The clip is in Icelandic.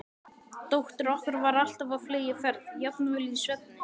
Dóttir okkar var alltaf á fleygiferð, jafnvel í svefni.